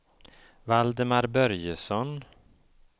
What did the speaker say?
Valdemar Börjesson